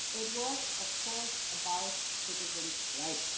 It was of course about citizens' rights.